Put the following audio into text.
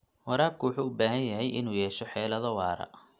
Waraabka wuxuu u baahan yahay inuu yeesho xeelado waara.